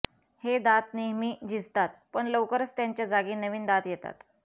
हे दात नेहमी झिजतात पण लवकरच त्यांच्या जागी नवीन दात येतात